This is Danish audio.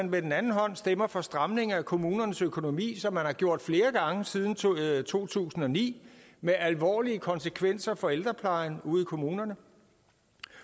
med den anden hånd stemmer for stramning af kommunernes økonomi som man har gjort flere gange siden to tusind og ni med alvorlige konsekvenser for ældreplejen ude i kommunerne